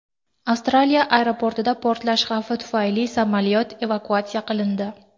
Avstraliya aeroportida portlash xavfi tufayli samolyot evakuatsiya qilindi.